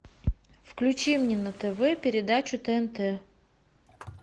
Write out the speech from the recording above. включи мне на тв передачу тнт